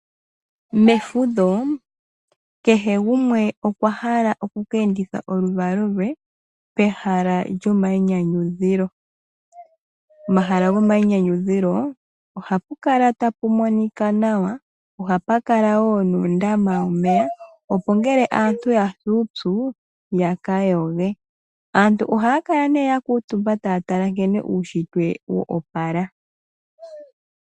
Mefudho kehe gumwe okwahala oku ka endithe oluvalo lwe kehala lyomayinyanyudho. Pehala gomayinyanyudhilo ohapu kala tapu monika nawa. Ohapu kala woo nuundama womeya opo ngele aantu yasi uupyu yaka yoge . Aantu ohaya kala nee ya kuutumba taya tala nkene uushitwe wo opala.